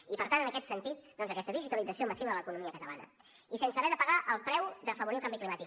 i per tant en aquest sentit doncs aquesta digitalització massiva de l’economia catalana i sense haver de pagar el preu d’afavorir el canvi climàtic